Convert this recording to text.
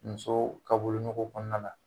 Muso ka wolonɔgo kɔnɔna la